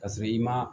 Ka sɔrɔ i ma